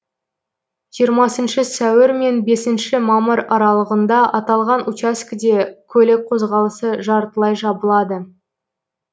жиырмасыншы сәуір мен бесінші мамыр аралығында аталған учаскеде көлік қозғалысы жартылай жабылады